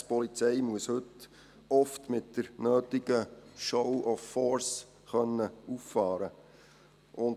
Die Polizei muss heute oft mit der nötigen «show of force» auffahren können.